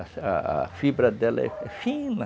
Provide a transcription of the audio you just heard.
A a fibra dela é fina.